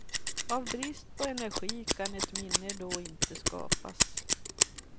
Av brist på energi kan ett minne då inte skapas.